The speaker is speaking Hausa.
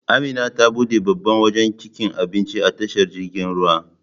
Amina ta buɗe babban wajan cikin Abinci a tashar jiragen ruwa